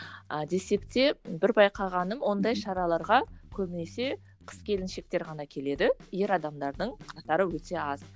а десек те бір байқағаным ондай шараларға көбінесе қыз келіншектер ғана келеді ер адамдардың қатары өте аз